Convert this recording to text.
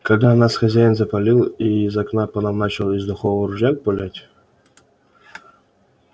когда нас хозяин запалил и из окна по нам начал из духового ружья пулять